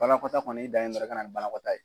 Banakɔtaa kɔni i dan ye dɔrɔn i ka na ni banakɔtaa ye.